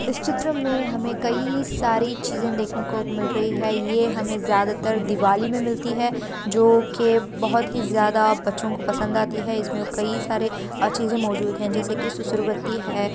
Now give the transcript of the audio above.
इस चित्र में हमें कई सारी चीज़े देखने को मिल रही है ये हमें ज्यादातर दिवाली में मिलती है जो के बहोत ही ज्यादा बच्चों को पसंद आती है इसमें कई सारी अ चीजें मौजूद हैं जैसे कि सुसुरबत्ती है।